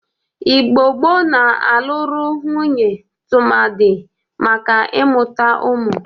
Igbo gboo na-alụrị nwunye tụmadị maka ị mụta ụmụ.